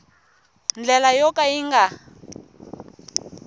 ndlela yo ka yi nga